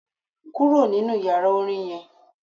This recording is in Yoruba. Kúrò nínú yàrá Orin yen